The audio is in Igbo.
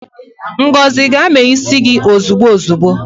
Ngozi gaa mee isi gi ozigbo ozigbo